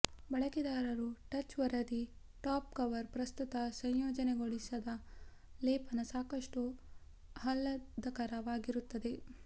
ಬಳಕೆದಾರರು ಟಚ್ ವರದಿ top cover ಪ್ರಸ್ತುತ ಸಂಯೋಜನೆಗೊಳಿಸಿದ ಲೇಪನ ಸಾಕಷ್ಟು ಆಹ್ಲಾದಕರವಾಗಿರುತ್ತದೆ